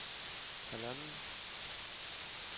halvanden